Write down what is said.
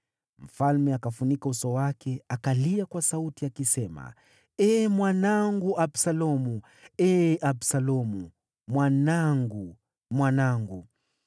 Mfalme akafunika uso wake akalia kwa sauti, akisema, “Ee mwanangu Absalomu! Ee Absalomu, mwanangu, mwanangu!”